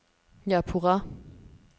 Japurá